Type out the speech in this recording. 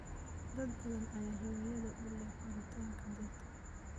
Dad badan ayaa hiwaayad u leh koritaanka dhirta.